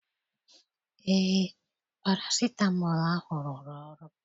Eé, parasitamọl ahụ rụrụ ọrụ.